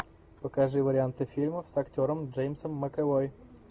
покажи варианты фильмов с актером джеймсом макэвой